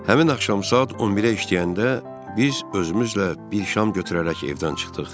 Həmin axşam saat 11-ə işləyəndə biz özümüzlə bir şam götürərək evdən çıxdıq.